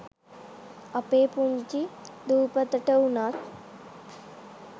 අපේ පුංචි දූපතට උනත්